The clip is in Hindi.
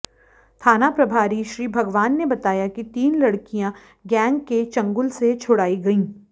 थाना प्रभारी श्री भगवान ने बताया कि तीन लड़कियां गैंग के चंगुल से छुड़ाई गईं